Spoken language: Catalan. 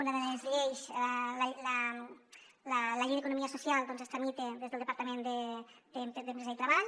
una de les lleis la llei d’economia social doncs es tramita des del departament d’empresa i treball